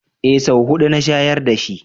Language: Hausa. Eh, sau huɗu na shayar dashi